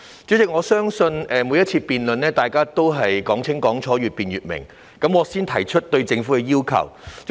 主席，相信在每次辯論中，大家都希望講清講楚、越辯越明，我會先提出對政府的要求。